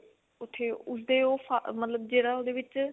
ਉੱਥੇ ਉਸਦੇ ਉਹ ਫਾ ਮਤਲਬ ਜਿਹੜਾ ਉਹਦੇ ਵਿੱਚ